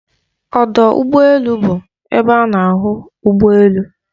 Ọdọ ụgbọ elu bụ ebe a na-ahụ ụgbọ elu.